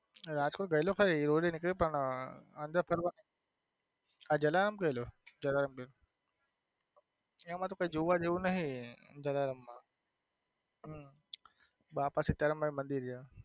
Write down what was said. રાજકોટ ગયેલો ખરી પણ જલારામ ગયેલો એમાં કઈ જોવા જેવું નથી જલારામ માં હમ બાપા સીતારામ માં મંદિર છે.